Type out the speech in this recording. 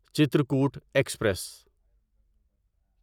Chitrakoot express